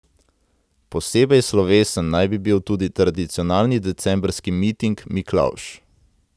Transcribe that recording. Posebej slovesen naj bi bil tudi tradicionalni decembrski miting Miklavž.